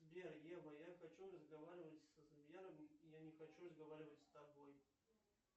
сбер ева я хочу разговаривать со сбером я не хочу разговаривать с тобой